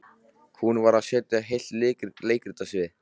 Hún varð að setja heilt leikrit á svið.